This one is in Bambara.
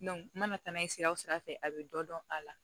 n mana taa n'a ye sira sira fɛ a bɛ dɔ dɔn a la